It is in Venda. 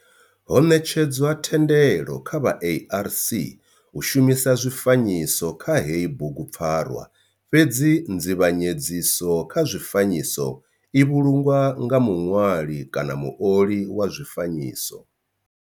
Ho netshedzwa thendelo kha vha ARC u shumisa zwifanyiso kha heyi bugupfarwa fhedzi nzivhanyedziso kha zwifanyiso i vhulungwa nga muṋwali kana muoli wa zwifanyiso.